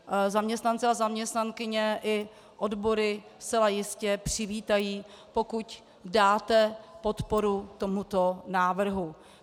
Zaměstnanci a zaměstnankyně i odbory zcela jistě přivítají, pokud dáte podporu tomuto návrhu.